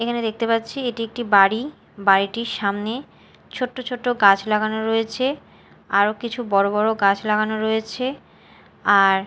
এখানে দেখতে পাচ্ছি এটি একটি বাড়ি বাড়িটির সামনে ছোট্ট ছোট্ট গাছ লাগানো রয়েছে আরও কিছু বড়ো বড়ো গাছ লাগানো রয়েছে আর--